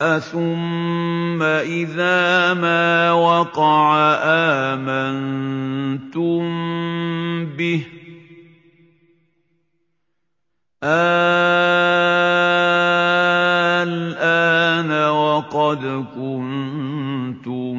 أَثُمَّ إِذَا مَا وَقَعَ آمَنتُم بِهِ ۚ آلْآنَ وَقَدْ كُنتُم